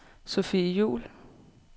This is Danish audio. Sophie Juul